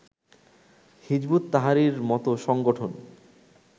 হিযবুত তাহরীরের মতো সংগঠন